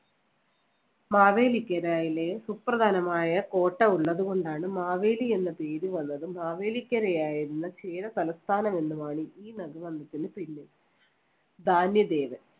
മാവേലിക്കനായിലെ സുപ്രധാനമായ കോട്ട ഉള്ളതുകൊണ്ടാണ് മാവേലി എന്ന പേര് വന്നതും മാവേലിക്കരയായിരുന്ന ക്ഷീര തലസ്ഥാനം എന്നുമാണ് ഈ . ധാന്യദേവൻ